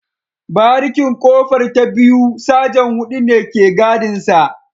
Barikin kofar ta biyu Sajan hudu ne ke gadinsa